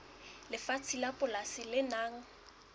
lefatshe la polasi le nang